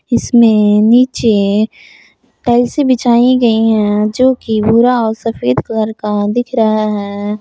इसमें नीचे टाइल्से बिछाई गई है जो कि भूरा औ सफ़ेद कलर का दिख रहा है।